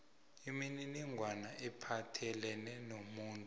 imininingwana ephathelene nomuntu